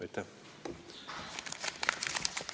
Aitäh!